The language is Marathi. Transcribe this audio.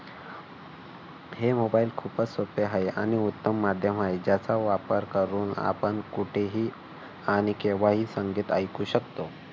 हे मोबाईल खूपच सोपे आहे आणि उत्तम माध्यम आहे. ज्याचा वापर करून आपण कुठेही आणि केव्हाही संगीत ऐकू शकतो.